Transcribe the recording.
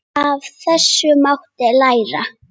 Af þessu mátti læra.